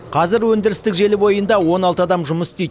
қазір өндірістік желі бойында он алты адам жұмыс істейді